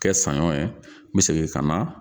Kɛ sanɲɔ ye n bɛ segin ka na